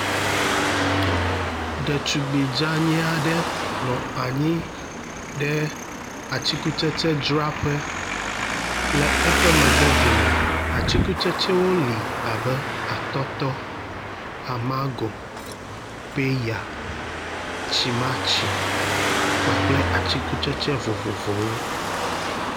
Ɖetugbe dzani aɖe nɔ anyi ɖe atikutsetsedzraƒe. Le eƒe megbe dome, atikutsetsewo li abe atɔtɔ, amangɔ, peya, tsimatsi kpakple atikutsetse vovovowo.